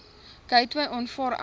gateway aanvaar egter